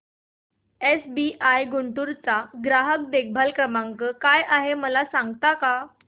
SBI Guntur चा ग्राहक देखभाल नंबर काय आहे मला सांगता का